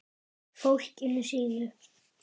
Fólkinu sínu.